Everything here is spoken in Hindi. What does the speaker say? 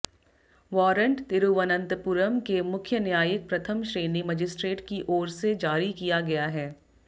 वारंट तिरुवनंतपुरम के मुख्य न्यायिक प्रथम श्रेणी मजिस्ट्रेट की ओर से जारी किया गया है